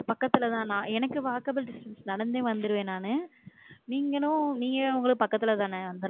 இங்க பக்கத்துல தானா எனக்கு walkable distance நடந்து வந்திருவேன் நானு நீங்களும் நீங்கதான உங்க பக்கத்துல தானே?